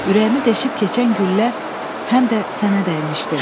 Ürəyimi deşib keçən güllə həm də sənə dəymişdi.